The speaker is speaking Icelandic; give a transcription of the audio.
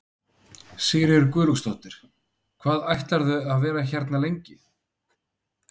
Elísabet: Var þín súpa sú besta?